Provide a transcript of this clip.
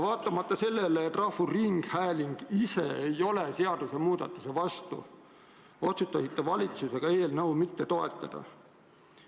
Vaatamata sellele, et rahvusringhääling ise ei ole sellise seadusmuudatuse vastu, otsustas valitsus eelnõu mitte toetada.